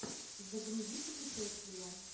загрузи путешествия